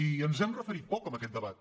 i ens hi hem refe·rit poc en aquest debat